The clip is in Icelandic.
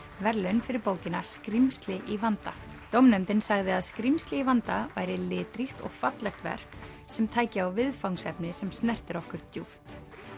verðlaun fyrir bókina skrímsli í vanda dómnefndin sagði að skrímsli í vanda væri litríkt og fallegt verk sem tæki á viðfangsefni sem snertir okkur djúpt